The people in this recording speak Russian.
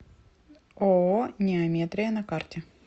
ооо неометрия на карте